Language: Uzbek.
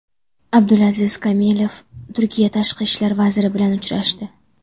Abdulaziz Kamilov Turkiya tashqi ishlar vaziri bilan uchrashdi.